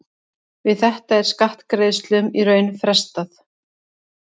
Við þetta er skattgreiðslum í raun frestað.